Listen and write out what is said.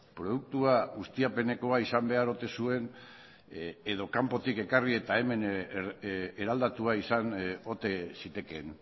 produktua ustiapenekoa izan behar ote zuen edo kanpotik ekarri eta hemen eraldatua izan ote zitekeen